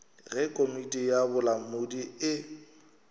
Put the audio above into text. ge komiti ya bolamodi e